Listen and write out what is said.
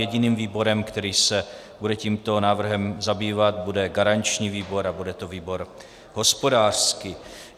Jediným výborem, který se bude tímto návrhem zabývat, bude garanční výbor a bude to výbor hospodářský.